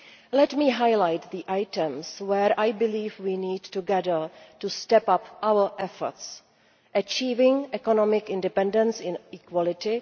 Let me highlight the areas where I believe we need, together, to step up our efforts achieving economic independence in equality